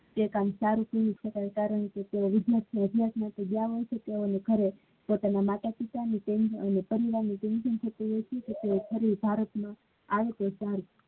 તે થી વિદ્યાર્થી વો અભ્યાસ માટે ગયા નથી તો ઘરે પોતાના માતા પિતા ના અને પરિવાર ના ભારત ને